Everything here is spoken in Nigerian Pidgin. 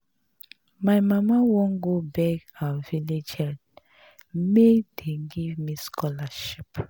My mama wan go beg our village head make dey give me scholarship